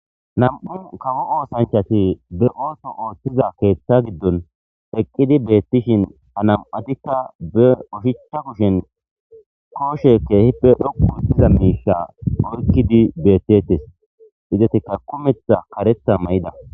2 kawo osanchati be oso oothizaysa giben eqidi betishin ha nam'ati be oshicha kushen koshe kehipe dhoqu histiza Misha oykidi betes izetika kumetha karetha mayida